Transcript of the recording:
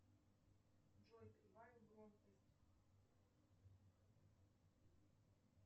джой прибавь громкость